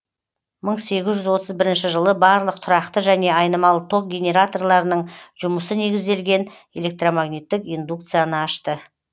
мың сегіз жүз отыз бірінші жылы барлық тұрақты және айнымалы ток генераторларының жұмысы негізделген электромагниттік индукцияны ашты